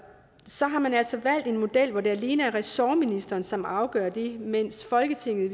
så har man altså valgt en model hvor det alene er ressortministeren som afgør det mens folketinget i